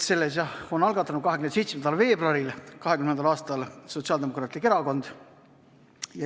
Selle on algatanud 27. veebruaril 2020. aastal Sotsiaaldemokraatlik Erakond.